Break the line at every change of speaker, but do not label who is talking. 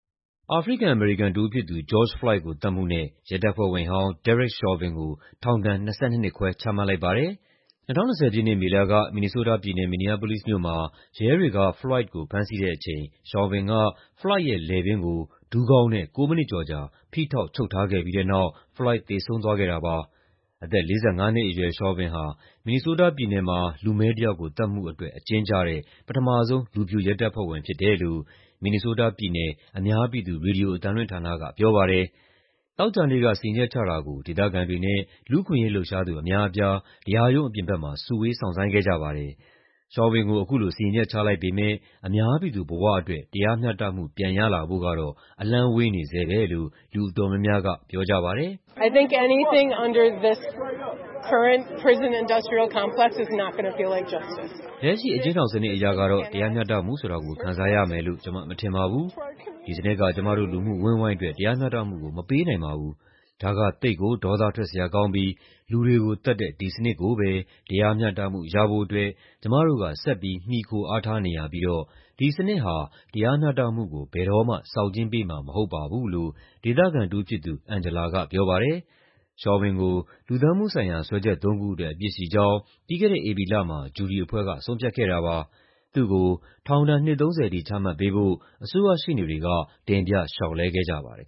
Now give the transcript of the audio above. အာဖရိကန်-အမေရိကန်တဦးဖြစ်သူ George Floyd ကို သတ်မှုနဲ့ ရဲတပ်ဖွဲ့ဝင်ဟောင်း Derek Chauvin ကို ထောင်ဒဏ် ၂၂ နှစ်ခွဲ ချမှတ်လိုက်ပါတယ်။ ၂၀၂၀ ပြည့်နှစ် မေလက မင်နီဆိုးတားပြည်နယ်၊ Minneapolis မြို့မှာ ရဲတွေက Floyd ကို ဖမ်းဆီးတဲ့အချိန် Chauvin က Floyd ရဲ့လည်ပင်းကို ဒူးခေါင်းနဲ့ ၉ မိနစ်ကျော်ကြာ ဖိထောက် ချုပ်ထားခဲ့ပြီးတဲ့နောက် Floyd သေဆုံးသွားခဲ့တာပါ။ အသက် ၄၅ နှစ်အရွယ် Chauvin ဟာ မင်နီဆိုးတားပြည်နယ်မှာ လူမည်းတယောက်ကို သတ်မှုအတွက် အကျဉ်းကျတဲ့ ပထမဆုံး လူဖြူ ရဲတပ်ဖွဲ့ဝင် ဖြစ်တယ်လို့ မင်နီဆိုးတားပြည်နယ် အများပြည်သူ ရေဒီယိုအသံလွှင့်ဌာနက ပြောပါတယ်။ သောကြာနေ့က စီရင်ချက်ချတာကို ဒေသခံတွေနဲ့ လူမှုအခွင့်အရေး လှုပ်ရှားသူ အများအပြား တရားရုံးအပြင်ဘက်မှာ စုဝေး စောင့်ဆိုင်းခဲ့ကြပါတယ်။ Chauvin ကို အခုလို စီရင်ချက် ချလိုက်ပေမယ့် အများပြည်သူဘဝအတွက် တရားမျှတမှု ပြန်ရလာဖို့ကတော့ အလှမ်းဝေးနေဆဲပဲလို့ လူအတော်များများက ပြောကြပါတယ်။ "လက်ရှိ အကျဉ်းထောင်စနစ်အရကတော့ တရားမျှတမှုဆိုတာကို ခံစားရမယ်လို့ ကျမ မထင်ပါဘူး။ ဒီစနစ်က ကျမတို့ လူမှုအဝန်းအဝိုင်းအတွက် တရားမျှတမှုကို မပေးနိုင်ပါဘူး။ ဒါက သိပ်ကို ဒေါသထွက်စရာကောင်းပြီး လူတွေကိုသတ်တဲ့ ဒီစနစ်ကိုပဲ တရားမျှတမှု ရဖို့အတွက် ကျမတို့က ဆက်ပြီး မှီခိုအားထားနေရပြီးတော့ ဒီစနစ်ဟာ တရားမျှတမှုကို ဘယ်တော့မှ ဆောင်ကြဉ်းပေးမှာ မဟုတ်ပါဘူး" လို့ ဒေသခံတဦးဖြစ်သူ Angela က ပြောပါတယ်။ Chauvin ကို လူသတ်မှုဆိုင်ရာ စွဲချက်သုံးခုအတွက် အပြစ်ရှိကြောင်း ပြီးခဲ့တဲ့ ဧပြီလမှာ ဂျူရီအဖွဲ့က ဆုံးဖြတ်ခဲ့တာပါ။ သူ့ကို ထောင်ဒဏ် နှစ် ၃၀ ထိ ချမှတ်ပေးဖို့ အစိုးရရှေ့နေတွေက တင်ပြ လျှောက်လဲခဲ့ကြပါတယ်